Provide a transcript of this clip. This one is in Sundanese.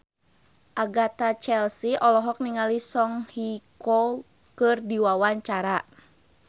Agatha Chelsea olohok ningali Song Hye Kyo keur diwawancara